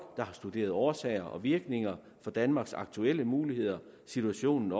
der har studeret årsager og virkninger for danmarks aktuelle muligheder situationen